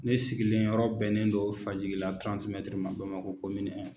Ne sigilen yɔrɔ bɛnnen dɔ Fajigila ma Bamakɔ